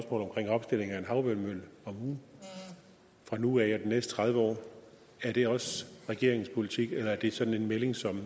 omkring opstilling af en havvindmølle om ugen fra nu af og de næste tredive år er det også regeringens politik eller er det sådan en melding som